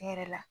Ne yɛrɛ la